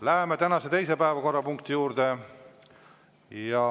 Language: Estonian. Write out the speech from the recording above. Läheme tänase teise päevakorrapunkti juurde.